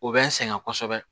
O bɛ n sɛgɛn kosɛbɛ